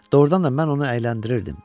Doğrudan da mən onu əyləndirirdim.